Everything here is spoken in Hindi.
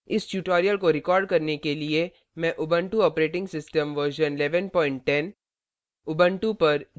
इस tutorial को record करने के लिए मैं उबंटु operating system version 1110